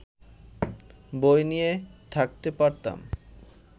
বই নিয়ে থাকতে পারতাম